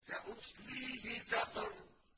سَأُصْلِيهِ سَقَرَ